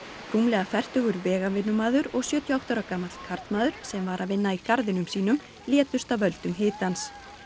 rúmlega fertugur og sjötíu og átta ára gamall karlmaður sem var að vinna í garðinum sínum létust af völdum hitans